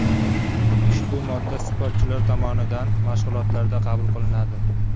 Ushbu modda sportchilar tomonidan mashg‘ulotlarda qabul qilinadi.